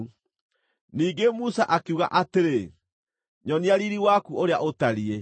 Ningĩ Musa akiuga atĩrĩ, “Nyonia riiri waku ũrĩa ũtariĩ.”